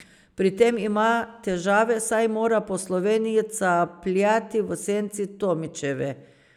Pri tem ima težave, saj mora po Sloveniji capljati v senci Tomičeve.